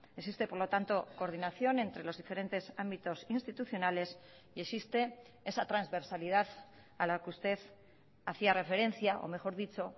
existe por lo tanto coordinación entre los diferentes ámbitos institucionales y existe esa transversalidad a la que usted hacía referencia o mejor dicho